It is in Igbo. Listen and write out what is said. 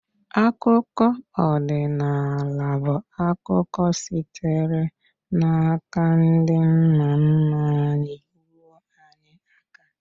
Akụkọ odịnaala bụ akụkọ sitere n’aka ndị nna nna anyị ruo anyị aka.